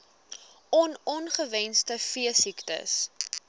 on ongewenste veesiektes